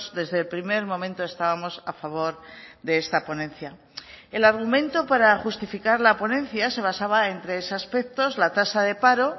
desde el primer momento estábamos a favor de esta ponencia el argumento para justificar la ponencia se basaba en tres aspectos la tasa de paro